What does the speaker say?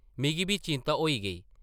मिगी बी चिंता होई गेई ।